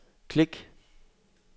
klik